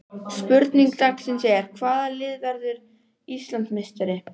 Spurning dagsins er: Hvaða lið verður Íslandsmeistari?